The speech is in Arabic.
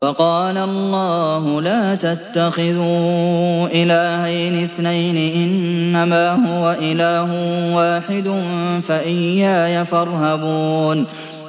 ۞ وَقَالَ اللَّهُ لَا تَتَّخِذُوا إِلَٰهَيْنِ اثْنَيْنِ ۖ إِنَّمَا هُوَ إِلَٰهٌ وَاحِدٌ ۖ فَإِيَّايَ فَارْهَبُونِ